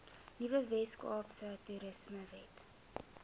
nuwe weskaapse toerismewet